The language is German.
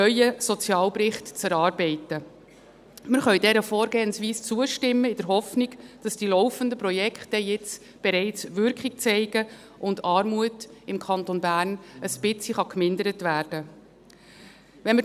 Wir können dieser Vorgehensweise zustimmen in der Hoffnung, dass die laufenden Projekte jetzt bereits Wirkung zeigen werden und die Armut im Kanton Bern ein wenig vermindert werden kann.